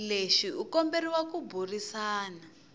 lexi u komberiwa ku burisana